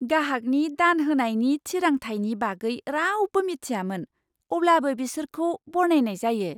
गाहागनि दान होनायनि थिरांथायनि बागै रावबो मिथियामोन, अब्लाबो बिसोरखौ बरनायनाय जायो!